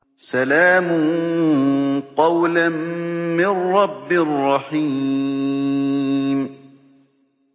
سَلَامٌ قَوْلًا مِّن رَّبٍّ رَّحِيمٍ